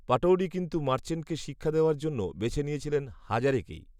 পটৌডি কিন্তু মার্চেন্টকে শিক্ষা দেওয়ার জন্য বেছে নিয়েছিলেন হাজারেকেই